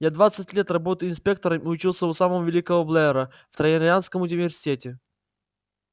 я двадцать лет работаю инспектором и учился у самого великого блера в транторианском университете